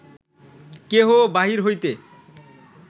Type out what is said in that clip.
কেহ বাহির হইতে